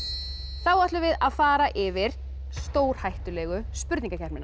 þá ætlum við að fara yfir stórhættulegu